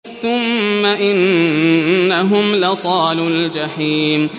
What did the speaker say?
ثُمَّ إِنَّهُمْ لَصَالُو الْجَحِيمِ